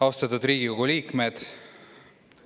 Austatud Riigikogu liikmed!